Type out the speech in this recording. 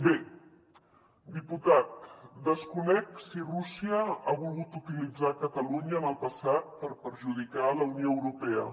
bé diputat desconec si rússia ha volgut utilitzar catalunya en el passat per perjudicar la unió europea